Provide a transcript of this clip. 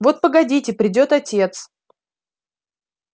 вот погодите придёт отец